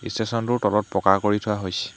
ষ্টেচনটোৰ তলত পকা কৰি থোৱা হৈছ--